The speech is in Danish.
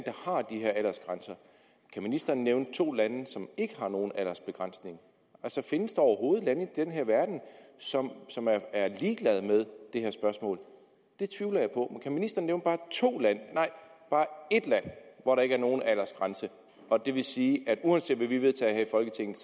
der ministeren nævne to lande som ikke har nogen aldersbegrænsning findes der overhovedet lande i den her verden som som er ligeglade med det her spørgsmål det tvivler jeg på men kan ministeren nævne bare to lande nej bare ét land hvor der ikke er nogen aldersgrænse det vil sige at uanset hvad vi vedtager her i folketinget